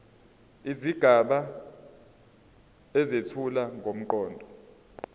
izigaba ezethula ngomqondo